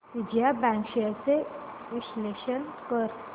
Vijaya bank shares चे विश्लेषण कर